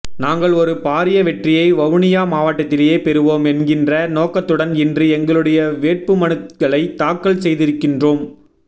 நாங்கள் ஒரு பாரிய வெற்றியை வவுனியா மாவட்டத்திலே பெறுவோம் என்கின்ற நோக்கத்துடன் இன்று எங்களுடைய வேட்புமனுக்களைத் தாக்கல் செய்திருக்கின்றோம்